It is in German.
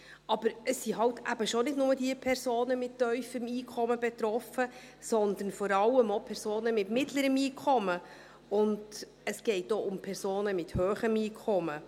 Aber es sind eben schon nicht nur die Personen mit tiefem Einkommen betroffen, sondern vor allem auch Personen mit mittlerem Einkommen, und es geht auch um Personen mit hohem Einkommen.